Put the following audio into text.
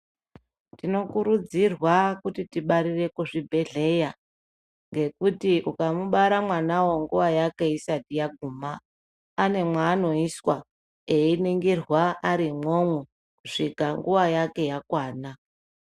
Tinokurudzirwa kuti tibarire kuzvibhehleya ngekuti ukamubara mwana uwo nguva yake isati yaguma ane mwanoiswa einingirwa ari imwomwo kusvika nguva yake yakwana.